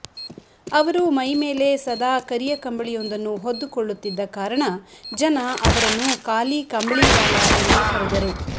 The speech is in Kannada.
ಅವರು ಮೈಮೇಲೆ ಸದಾ ಕರಿಯ ಕಂಬಳಿಯೊಂದನ್ನು ಹೊದ್ದುಕೊಳ್ಳುತ್ತಿದ್ದ ಕಾರಣ ಜನ ಅವರನ್ನು ಕಾಲೀ ಕಂಬಳೀವಾಲ ಎಂದೇ ಕರೆದರು